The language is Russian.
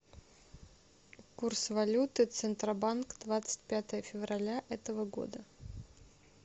курс валюты центробанк двадцать пятое февраля этого года